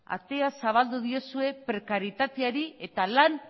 atea zabaldu diozue prekarietateari eta lan